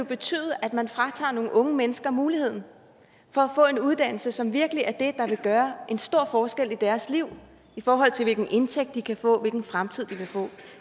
betyde at man fratager nogle unge mennesker muligheden for at få en uddannelse som virkelig er det vil gøre en stor forskel i deres liv i forhold til hvilken indtægt de kan få hvilken fremtid de kan få